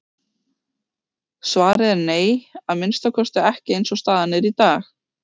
Svarið er nei, að minnsta kosti ekki eins og staðan er í dag.